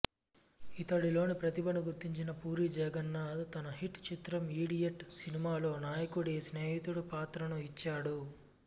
ఇతడిలోని ప్రతిభను గుర్తించిన పూరీ జగన్నాధ్ తన హిట్ చిత్రం ఇడియట్ సినిమాలో నాయకుడి స్నేహితుడు పాత్రను ఇచ్చాడు